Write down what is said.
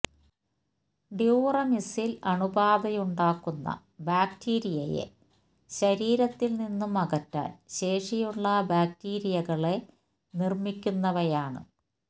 ഡ്യൂറമിസില് അണുബാധയുണ്ടാക്കുന്ന ബാക്ടീരിയയെ ശരീരത്തില് നിന്നും അകറ്റാന് ശേഷിയുള്ള ബാക്ടീരിയകളെ നിര്മ്മിക്കുന്നവയാണ്